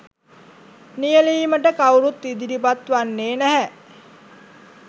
නියැලීමට කවුරුත් ඉදිරිපත් වන්නේ නැහැ.